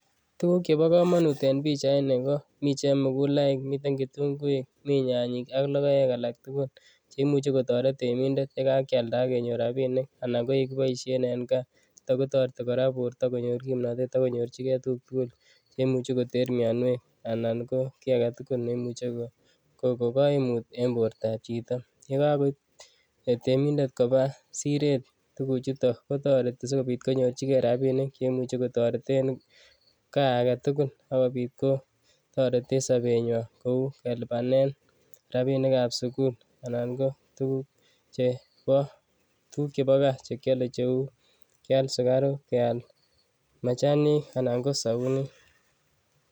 Tukuk chebokomonut en pichaini ko mii chemukulaik, miten kitung'uik, mii nyanyik ak lokoek alak tukul cheimuche kotoret temindet yekakialda ak kenyor rabinik anan ko yekiboishen en Kaa, chuto kora kotoreti borto konyor kimnotet ak konyorchike tukuk tukul cheimuche koter mionwek anan ko kii aketukul neimuche kokokoimut en bortab chito, yekakoib temindet kobaa siret komara kotoreti asikobit ko konyorchike rabinik cheimuche kotoreten kaa aketukul ak kobiit kotoreten sobenywan kouu kelibanen rabinikab sukul anan ko tukuk chebo kaa chekiole cheuu kial sukaruk kial machanik anan ko sobunit.